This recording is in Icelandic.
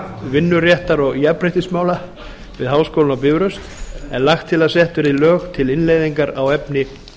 vinnuréttar og jafnréttismála við háskólann á bifröst er lagt til að sett verði lög til innleiðingar á efni